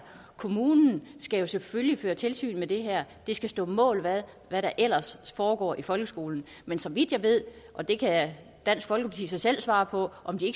kommunen skal jo selvfølgelig føre tilsyn med det her det skal stå mål med hvad der ellers foregår i folkeskolen men så vidt jeg ved og det kan dansk folkepartis ordfører så selv svare på så